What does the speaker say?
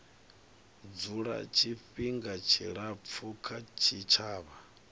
dzula tshifhinga tshilapfu kha tshitshavha